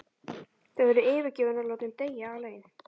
Þau væru yfirgefin og látin deyja alein.